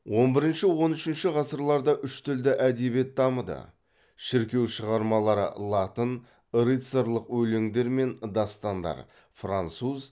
он бірінші он үшінші ғасырларда үш тілді әдебиет дамыды шіркеу шығармалары латын рыцарьлық өлеңдер мен дастандар француз